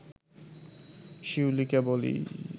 শিউলিকে বলি